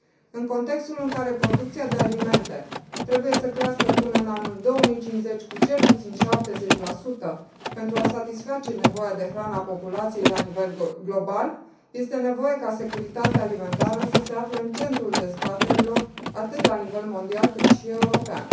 În contextul în care producția de alimente trebuie să crească până în anul 2050, cu cel puțin 70, pentru a satisface nevoia de hrană a populației la nivel global, este nevoie ca securitatea alimentară să se afle în centrul dezbaterilor atât la nivel mondial, cât și european.